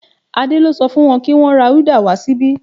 Adé lo so fún won ki wón ra uda wa síbí